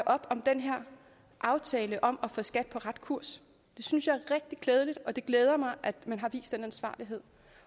op om den her aftale om at få skat på ret kurs det synes jeg er rigtig klædeligt og det glæder mig at man har vist den ansvarlighed